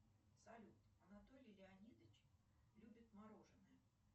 салют анатолий леонидович любит мороженное